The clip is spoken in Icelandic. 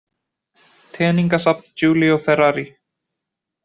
Teningasafn Giulio Ferrari